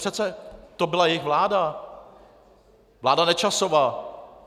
Přece to byla jejich vláda, vláda Nečasova.